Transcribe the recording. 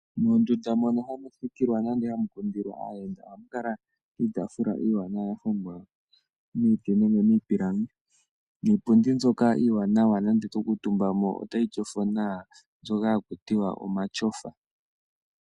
Mondunda moka hamu thikikilwa nenge hamu kundilwa aayenda, ohamu kala iitafula iiwanawa ya hongwa miiti nenge miipilangi. Iipundi mbyoka iiwanawa, nonando to kuutumba mo otayi tyofo nawa, osho shoka haku tiwa omatyofa.